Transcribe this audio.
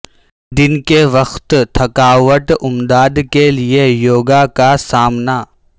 دن کے وقت تھکاوٹ امداد کے لئے یوگا کا سامنا